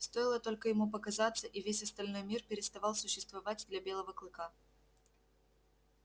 стоило только ему показаться и весь остальной мир переставал существовать для белого клыка